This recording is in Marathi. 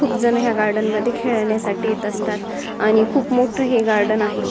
खूप जण या गार्डन मध्ये खेळण्यासाठी येत असतात आणि खूप मोठं हे गार्डन आहे.